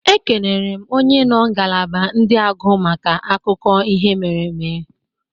Ekenere m onye nọ ngalaba ndị agụ maka akụkọ ihe mere eme.